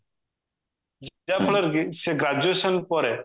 ଯାହାଫଳରେ କି ସେ graduation ପରେ